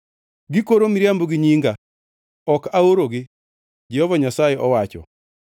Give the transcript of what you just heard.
Gikoro miriambo gi nyinga. Ok aorogi,” Jehova Nyasaye owacho.